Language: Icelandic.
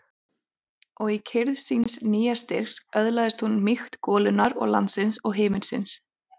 Og í kyrrð síns nýja styrks öðlaðist hún mýkt golunnar og landsins og himinsins.